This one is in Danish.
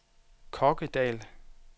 Kokkedal